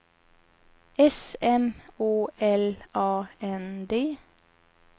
S M Å L A N D